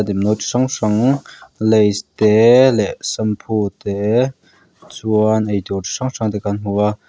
hrang hrang lays te leh shampoo te chuan ei tur chi hrang hrang te kan hmu a.